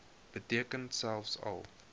beteken selfs al